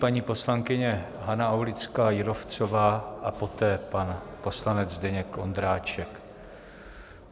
Paní poslankyně Hana Aulická Jírovcová a poté pan poslanec Zdeněk Ondráček.